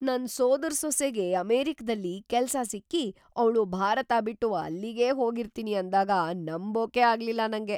ನನ್ ಸೋದರ್‌ಸೊಸೆಗೆ ಅಮೆರಿಕದಲ್ಲಿ ಕೆಲ್ಸ ಸಿಕ್ಕಿ ಅವ್ಳು ಭಾರತ ಬಿಟ್ಟು ಅಲ್ಲಿಗೇ ಹೋಗಿರ್ತೀನಿ ಅಂದಾಗ ನಂಬೋಕೇ ಆಗ್ಲಿಲ್ಲ ನಂಗೆ.